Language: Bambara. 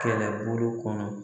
Kɛlɛbolo kɔnɔ.